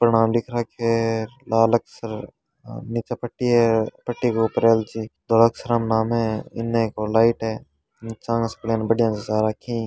नाम लिख रखे है लाल अक्सर से नीचे पट्टी है पट्टी के ऊपर अनुच्छेद धोळे अक्षर में नाम है इन एक और लाइट है नीचे आ के बढ़िया जचा रखा है।